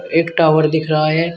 एक टावर दिख रहा है।